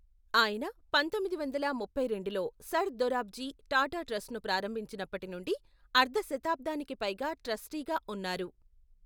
ఆయన పంతొమ్మిది వందల ముప్పై రెండులో సర్ దొరాబ్జీ టాటా ట్రస్ట్ను ప్రారంభించినప్పటి నుండి అర్ధ శతాబ్దానికి పైగా ట్రస్టీగా ఉన్నారు.